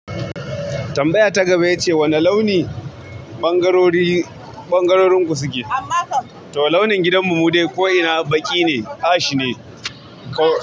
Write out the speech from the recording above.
Tambaya ta gaba ita ce wane launi ɓangarori, ɓangarorin ku suke? To launin gidan mu mude ko ina baƙi ne, ash ne.